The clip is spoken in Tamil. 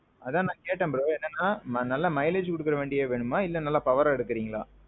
அதான் நான் கேட்டேன் bro. என்னன்னா நல்லா mileage குடுக்குற மாறி வண்டி வேணுமா இல்ல நல்ல power bikeஅ எடுக்குறீங்களா?